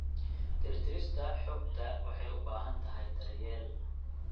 Tirtirista xogta waxay u baahan tahay daryeel.